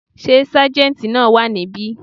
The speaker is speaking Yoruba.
Sé sájéntì náà wà níbí